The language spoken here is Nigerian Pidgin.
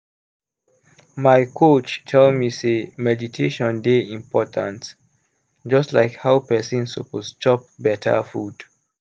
my coach tell me sey meditation dey important just like how person suppose chop beta food.